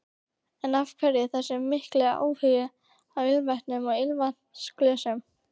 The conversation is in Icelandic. En af hverju þessi mikli áhugi á ilmvötnum og ilmvatnsglösum?